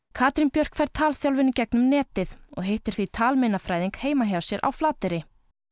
Katrín Björk fær talþjálfun í gegnum netið og hittir því talmeinafræðing heima hjá sér á Flateyri